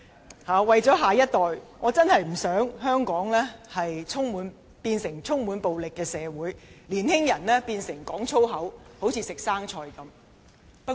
為着我們的下一代，我真的不希望香港變成充滿暴力的社會，年青人隨隨便便說粗言。